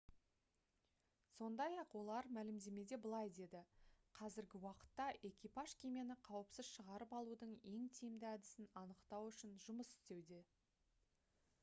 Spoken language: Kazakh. сондай-ақ олар мәлімдемеде былай деді: «қазіргі уақытта экипаж кемені қауіпсіз шығарып алудың ең тиімді әдісін анықтау үшін жұмыс істеуде»